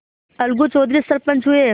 अलगू चौधरी सरपंच हुए